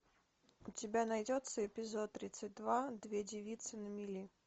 у тебя найдется эпизод тридцать два две девицы на мели